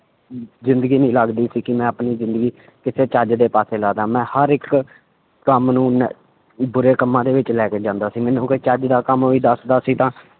ਜ਼ਿੰਦਗੀ ਨੀ ਲੱਗਦੀ ਸੀ ਕਿ ਮੈਂ ਆਪਣੀ ਜ਼ਿੰਦਗੀ ਕਿਸੇ ਚੱਜ ਦੇ ਪਾਸੇ ਲਾ ਦੇਵਾਂ, ਮੈਂ ਹਰ ਇੱਕ ਕੰਮ ਨੂੰ ਨ~ ਬੁਰੇ ਕੰਮਾਂ ਦੇ ਵਿੱਚ ਲੈ ਕੇ ਜਾਂਦਾ ਸੀ ਮੈਨੂੰ ਕੋਈ ਚੱਜ ਦਾ ਕੰਮ ਵੀ ਦੱਸਦਾ ਸੀ ਤਾਂ